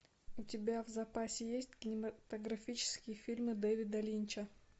у тебя в запасе есть кинематографические фильмы дэвида линча